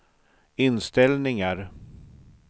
inställningar